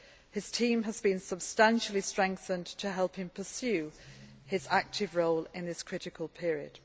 His team has been substantially strengthened to help him pursue his active role in this critical period.